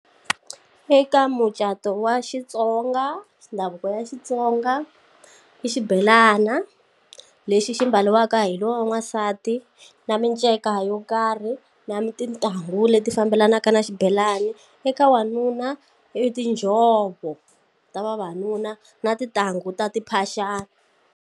Eka mucato wa xitsonga ndhavuko ya xitsonga i xibelana lexi xi mbariwaka hi lowa n'wansati na miceka mhaka yo karhi na tintangu leti fambelanaka na xibelani eka wanuna i tinjhovo ta vavanuna na tintangu ta timphaxani.